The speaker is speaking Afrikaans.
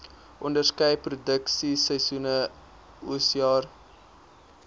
onderskeie produksieseisoene oesjare